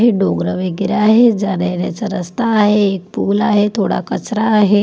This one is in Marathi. हे डोंगरं वेगेरे आहे. जाण्यायेण्याचा रस्ता आहे. एक पूल आहे. थोडा कचरा आहे.